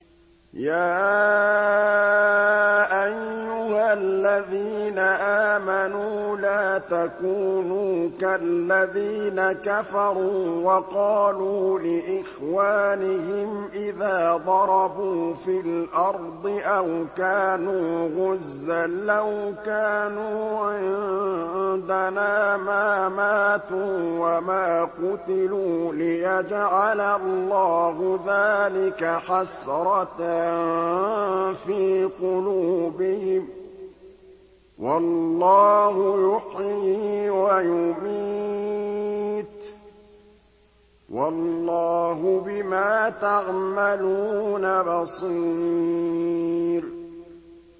يَا أَيُّهَا الَّذِينَ آمَنُوا لَا تَكُونُوا كَالَّذِينَ كَفَرُوا وَقَالُوا لِإِخْوَانِهِمْ إِذَا ضَرَبُوا فِي الْأَرْضِ أَوْ كَانُوا غُزًّى لَّوْ كَانُوا عِندَنَا مَا مَاتُوا وَمَا قُتِلُوا لِيَجْعَلَ اللَّهُ ذَٰلِكَ حَسْرَةً فِي قُلُوبِهِمْ ۗ وَاللَّهُ يُحْيِي وَيُمِيتُ ۗ وَاللَّهُ بِمَا تَعْمَلُونَ بَصِيرٌ